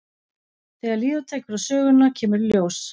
Þegar líða tekur á söguna kemur í ljós.